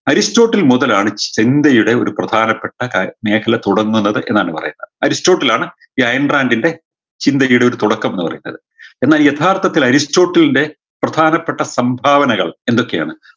Aristotle മുതലാണ് യുടെ പ്രധാനപ്പെട്ട കാ മേഖല തുടങ്ങുന്നത് എന്നാണ് പറയുന്നത് അരിസ്റ്റോട്ടിൽ ആണ് ഈ അയേൺ ഡ്രാങ്കിൻറെ ചിന്തികിയുടെ ഒരു തുടക്കം എന്ന് പറയുന്നത് എന്നാൽ യഥാർത്ഥത്തിൽ അരിസ്റോട്ടിലിൻറെ പ്രധാനപ്പെട്ട സംഭാവനകൾ എന്തൊക്കെയാണ്